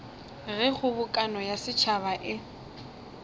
ge kgobokano ya setšhaba e